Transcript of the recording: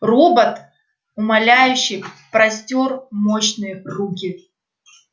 робот умоляюще простёр мощные руки